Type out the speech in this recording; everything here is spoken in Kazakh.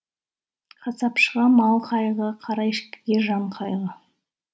қасапшыға мал қайғы қара ешкіге жан қайғы